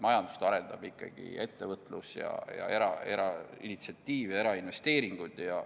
Majandust arendab ikkagi ettevõtlus, sh eraerainitsiatiiv ja erainvesteeringud.